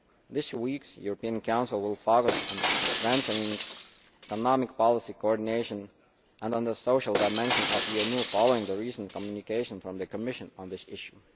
This week's European Council will focus on strengthening economic policy coordinaton and the social dimension of the EMU following the recent communication from the Commission on this issue.